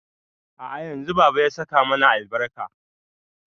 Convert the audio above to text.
A'a yanzu baba ya saka mana albarka